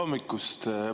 Hommikust!